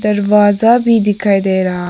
दरवाजा भी दिखाई दे रहा--